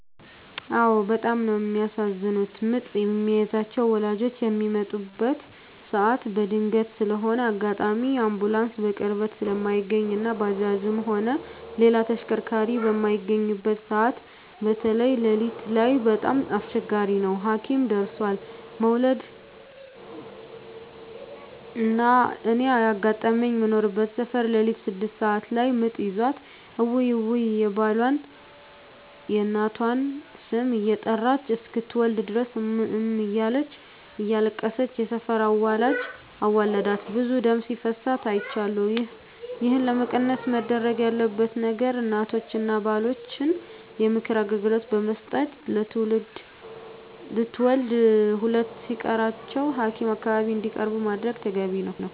አዎ በጣም ነው የሚያሳዝኑት ምጥ የሚይዛቸው ወላጆች ሚመጣበት ሰዓት በድንገት ስለሆነ አጋጣሚ አንቡላንስ በቅርበት ስለማይገኝ እና ባጃጅም ሆነ ሌላ ተሽከርካሪ በማይገኝበት ሰዓት በተይ ለሊት ላይ በጣም አስቸጋሪ ነው ሀኪም ደርሦለ መዉለድ። እና እኔ ያጋጠመኝ ምኖርበት ሰፈር ለሊት ስድስት ሰዓት ላይ ምጥ ይዟት እውይ እውይ የባሏን፣ የእናቷን ስም እየጠራች እስክትወልድ ድረስ እም እም እያለች እያለቀሰች የሰፈር አዋላጅ አዋልዳት ብዙ ደም ሲፈሳት አይቻለሁ። ይህን ለመቀነስ መደረግ ያለበት ነገር እናቶችን እና ባሎችን የምክር አገልግሎት ብመስጠት ለትውልድ ሁለት ሲቀራቸው ሀኪም አካባቢ እንዲቀርቡ ማድረግ ተገቢ ነው።